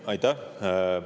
Aitäh!